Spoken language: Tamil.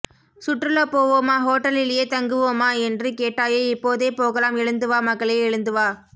சுற்றுலா போவோமா ஹோட்டலிலேயே தங்குவோமா என்று கேட்டாயே இப்போதே போகலாம் எழுந்து வா மகளே எழுந்து வா